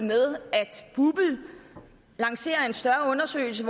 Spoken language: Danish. med at bupl lancerer en større undersøgelse